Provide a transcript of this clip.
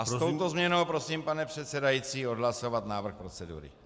A s touto změnou prosím, pane předsedající, odhlasovat návrh procedury.